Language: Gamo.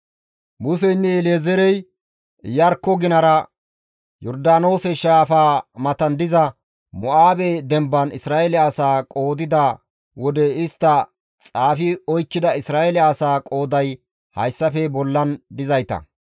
Museynne El7ezeerey Iyarkko ginara Yordaanoose shaafaa matan diza Mo7aabe demban Isra7eele asaa qoodida wode istti xaafi oykkida Isra7eele asaa qooday hayssafe bollan dizayta.